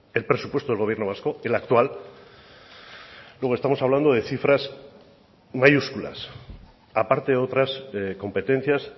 el presupuesto del gobierno vasco el actual luego estamos hablando de cifras mayúsculas aparte de otras competencias